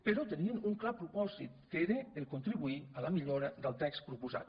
però tenien un clar propòsit que era contribuir a la millora del text proposat